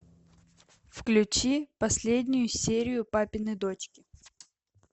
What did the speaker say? включи последнюю серию папины дочки